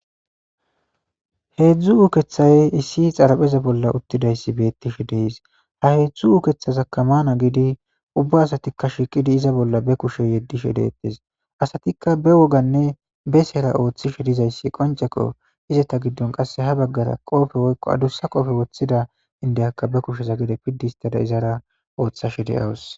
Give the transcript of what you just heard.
Hedzdzu uukeththay issi xaraphpheza bolla uuttidaysi beettes de'es ha hedzdzu uukeththazakka maana gidii uubba asatikka iza bolla kushe yedishe de'ettes asatikka be wooggn e be seera ooththishe dizayssi qonccekko izetappe ha baggara qope woykko addussa qooppee woththida indiyakka be kushe izarkka gedde pidi histada ooththashe de'awus